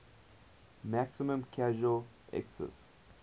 maximum casual excise